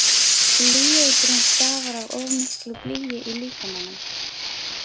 Blýeitrun stafar af of miklu blýi í líkamanum.